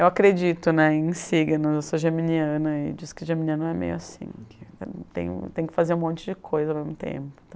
Eu acredito né, em signos, eu sou geminiana, e diz que geminiana é meio assim, que tem tem que fazer um monte de coisa ao mesmo tempo e tal.